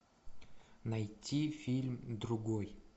найти фильм другой